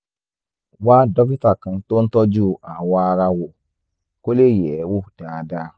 wá dókítà kan tó ń tọ́jú awọ ara wò kó lè yẹ̀ ẹ́ wò dáadáa